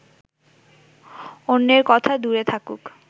অন্যের কথা দূরে থাকুক